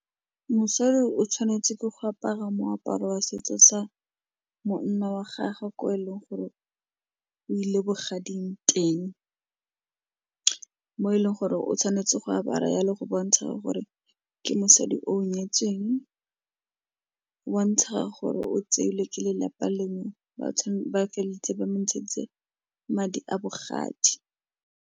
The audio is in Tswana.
Mosadi o tshwanetse ke go apara moaparo wa setso sa monna wa gagwe ko e leng gore o ile bogading teng mo e leng gore o tshwanetse go apara jalo, go bontsha gore ke mosadi o nyetsweng, go bontsha gore o tseile ke lelapa lengwe ba feleleditse ba mo ntsheditse madi a bogadi.